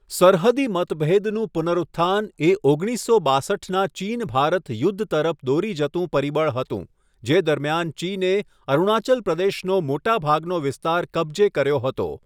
સરહદી મતભેદનું પુનરુત્થાન એ ઓગણીસસો બાસઠના ચીન ભારત યુદ્ધ તરફ દોરી જતું પરિબળ હતું, જે દરમિયાન ચીને અરુણાચલ પ્રદેશનો મોટા ભાગનો વિસ્તાર કબજે કર્યો હતો.